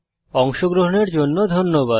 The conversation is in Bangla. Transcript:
অংশগ্রহনের জন্য ধন্যবাদ